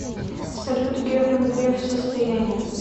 салют герман греф состояние